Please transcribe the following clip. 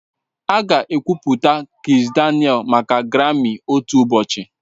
Aga ekwupụta Kizz Daniel maka Grami otu ụbọchị